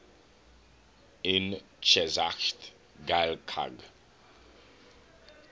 yn cheshaght ghailckagh